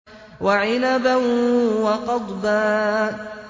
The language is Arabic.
وَعِنَبًا وَقَضْبًا